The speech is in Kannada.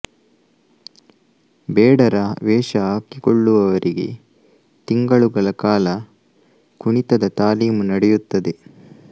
ಬೇಡರ ವೇಷ ಹಾಕಿಕೊಳ್ಳುವವರಿಗೆ ತಿಂಗಳುಗಳ ಕಾಲ ಕುಣಿತದ ತಾಲೀಮು ನಡೆಯುತ್ತದೆ